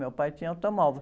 Meu pai tinha automóvel.